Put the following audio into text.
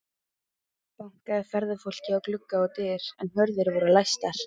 Bankaði ferðafólkið á glugga og dyr, en hurðir voru læstar.